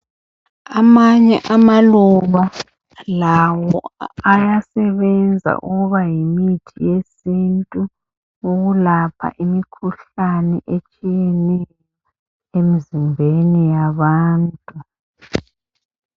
Amanye amaluba lawo ayasebenza ukuba yimithi yesintu ukulapha imikhuhlane etshiyeneyo emzimbeni yabantu.